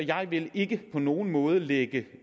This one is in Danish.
jeg vil ikke på nogen måde lægge